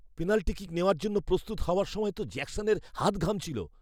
Penalty kick নেওয়ার জন্য প্রস্তুত হওয়ার সময় তো জ্যাকসনের হাত ঘামছিল।